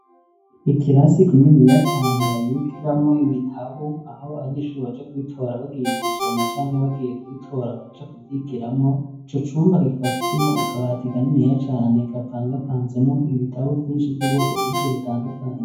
Ikirasi kininiya cane babikiramo ibitabu aho abanyeshuri baja kubitora bagiye gusoma canke bagiye kubitora baja kuvyigiramo. Ico cumba kikaba kirimwo ukabati ikaniniya cane gapanga panzemo ibitabu vyinshi vy'ubwoko bwinshi butandukanye.